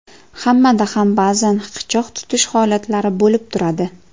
Hammada ham ba’zan hiqichoq tutish holatlari bo‘lib turadi.